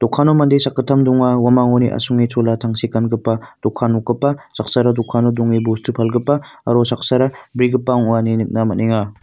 dokano mande sakgittam donga uamangoni asonge tangsek gangipa dokan nokgipa saksara dokano donge bostu palgipa aro saksara bregipa ong·a ine nikna man·enga.